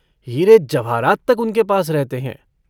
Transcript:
हीरे-जवाहरात तक उनके पास रहते हैं।